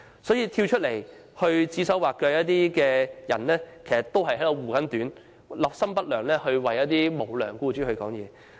所以，那些出來指手劃腳的人，其實是在護短，立心不良，為無良僱主發言。